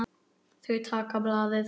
Þau taka blaðið.